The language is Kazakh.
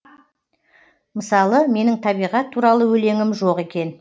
мысалы менің табиғат туралы өлеңім жоқ екен